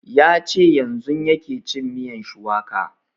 Ya ce yanzun yake cin miyan shuwaka